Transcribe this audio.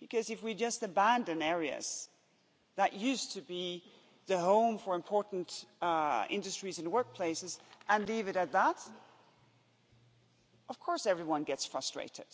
Because if we just abandon areas that used to be the home for important industries and workplaces and leave it at that, of course, everyone gets frustrated,